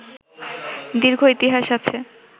দীর্ঘ ইতিহাস আছে